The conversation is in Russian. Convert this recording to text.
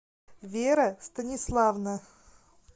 вера станиславовна